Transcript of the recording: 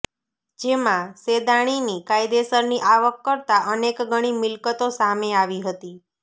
જેમાં સેદાણીની કાયદેસરની આવક કરતા અનેક ગણી મિલકતો સામે આવી હતી